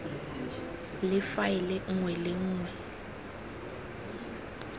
le faele nngwe le nngwe